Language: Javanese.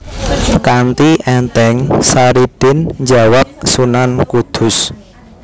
Kanti ènthèng Saridin njawab Sunan Kudus